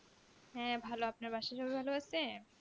হ্যাঁ ভালো আপনার বাসার সবাই ভালো আছে